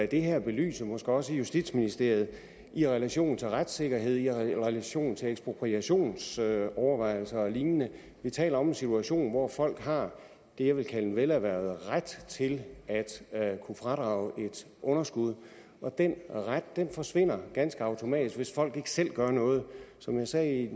det her belyse måske også i justitsministeriet i relation til retssikkerheden og i relation til ekspropriationsovervejelser og lignende vi taler om en situation hvor folk har det jeg vil kalde en velerhvervet ret til at kunne fradrage et underskud og den ret forsvinder ganske automatisk hvis folk ikke selv gør noget som jeg sagde i